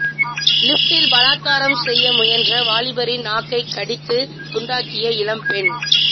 லிப்ட்டில் பலாத்காரம் செய்ய முயன்ற வாலிபரின் நாக்கை கடித்து துண்டாக்கிய இளம் பெண்